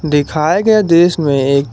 दिखाए गए दृश्य में एक --